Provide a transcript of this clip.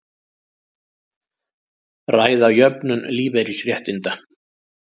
Ræða jöfnun lífeyrisréttinda